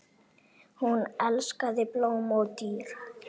Hún elskaði blóm og dýr.